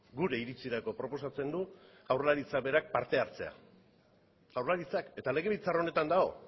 gure iritsirako proposatzen du jaurlaritzak berak parte hartzea jaurlaritzak eta legebiltzar honetan dago